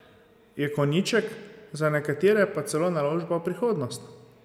Je konjiček, za nekatere pa celo naložba v prihodnost.